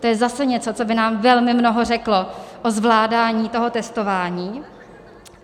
To je zase něco, co by nám velmi mnoho řeklo o zvládání toho testování.